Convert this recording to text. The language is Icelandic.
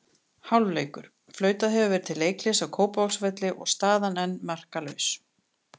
Hálfleikur: Flautað hefur verið til leikhlés á Kópavogsvelli og staðan enn markalaus.